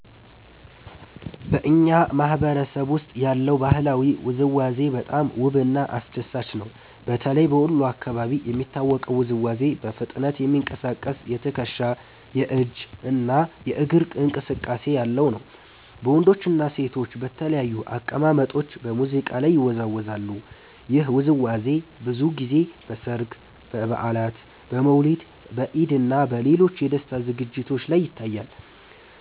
በእኛ ማህበረሰብ ውስጥ ያለው ባህላዊ ውዝዋዜ በጣም ውብና አስደሳች ነው። በተለይ በወሎ አካባቢ የሚታወቀው ውዝዋዜ በፍጥነት የሚንቀሳቀስ የትከሻ፣ የእጅ እና የእግር እንቅስቃሴ ያለው ነው። ወንዶችና ሴቶች በተለያዩ አቀማመጦች በሙዚቃ ላይ ይወዛወዛሉ። ይህ ውዝዋዜ ብዙ ጊዜ በሠርግ፣ በበዓላት፣ በመውሊድ፣ በኢድ እና በሌሎች የደስታ ዝግጅቶች ላይ ይታያል።